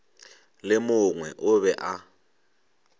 le mongwe o be a